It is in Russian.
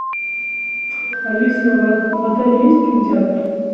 алиса в отеле есть кинотеатр